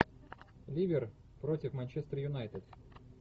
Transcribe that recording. ливер против манчестер юнайтед